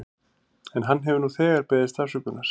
En hann hefur nú þegar beðist afsökunar.